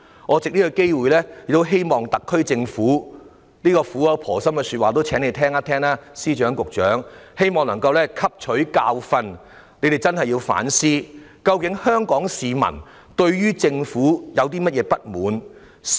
我藉此機會，請司長和局長聆聽我這番苦口婆心的說話，希望特區政府能夠汲取教訓，並認真反思各項問題：究竟香港市民對政府有何不滿？